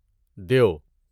دیو